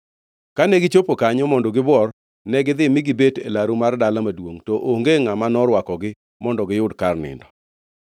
Kane gichopo kanyo mondo gibuor, negidhi mi gibet e laru mar dala maduongʼ, to onge ngʼama norwakogi mondo giyud kar nindo.